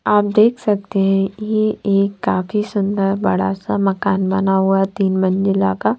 आप देख सकते हैं ये एक काफ़ी सुंदर बड़ा सा मकान बना हुआ तीन मंजिला का--